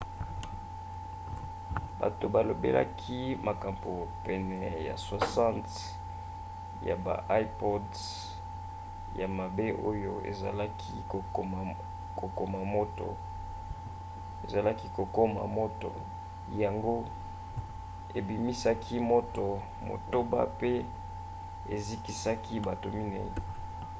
bato balobelaki makambo pene ya 60 ya baipod ya mabe oyo ezalaki kokoma moto yango ebimisaki moto motoba pe ezikisaki bato minei